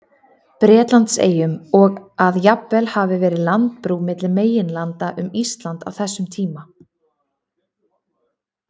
Bretlandseyjum, og að jafnvel hafi verið landbrú milli meginlanda um Ísland á þessum tíma.